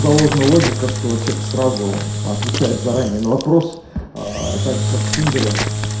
заложена логика что человек сразу отвечает заранее на вопрос также как в тиндере